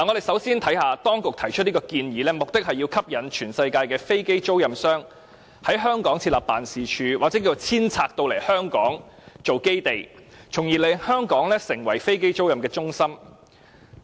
首先，我們看看當局提出這項建議，目的是要吸引全世界的飛機租賃商，在香港設立辦事處或遷拆總部往香港，從而令香港成為飛機租賃的中心。